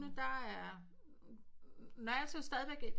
Der er når alting stadig et